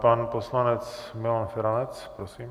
Pan poslanec Milan Feranec, prosím.